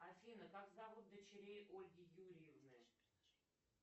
афина как зовут дочерей ольги юрьевны